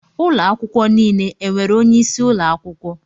Ụlọ akwụkwọ niile e nwere onyeisi ụlọ akwụkwọ